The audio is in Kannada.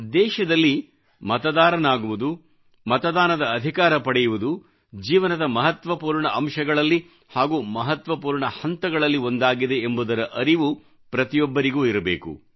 ದೇಶದಲ್ಲಿ ಮತದಾರನಾಗುವುದು ಮತದಾನದ ಅಧಿಕಾರ ಪಡೆಯುವುದು ಜೀವನದ ಮಹತ್ವಪೂರ್ಣ ಅಂಶಗಳಲ್ಲಿ ಹಾಗೂ ಮಹತ್ವಪೂರ್ಣ ಹಂತಗಳಲ್ಲಿ ಒಂದಾಗಿದೆ ಎಂಬುದರ ಅರಿವು ಪ್ರತಿಯೊಬ್ಬರಿಗೂ ಇರಬೇಕು